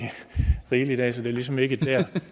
rigeligt af så det er ligesom ikke der